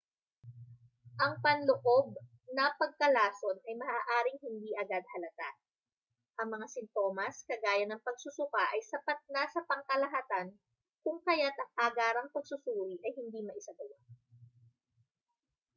ang panloob na pagkalason ay maaaring hindi agad halata ang mga sintomas kagaya ng pagsusuka ay sapat na sa pangkalahatan kung kayat ang agarang pagsusuri ay hindi maisagawa